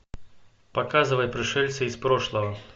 показывай пришельцы из прошлого